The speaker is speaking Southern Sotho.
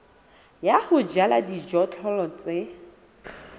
ya ho jala dijothollo tse